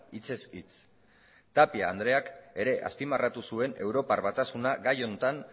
hitzez hitz tapia andreak ere azpimarratu zuen europar batasuna gai honetan